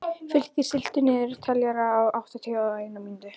Fylkir, stilltu niðurteljara á áttatíu og eina mínútur.